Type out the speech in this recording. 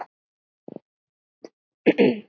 Góði farðu í megrun.